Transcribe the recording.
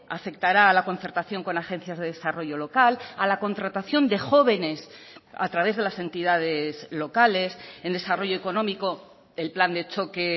afectará a la concertación con agencias de desarrollo local a la contratación de jóvenes a través de las entidades locales en desarrollo económico el plan de choque